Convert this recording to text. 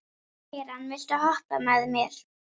Keran, viltu hoppa með mér?